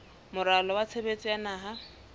moralo wa tshebetso wa naha